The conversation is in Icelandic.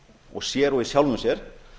og sér og í sjálfum sér